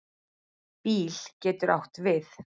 BÍL getur átt við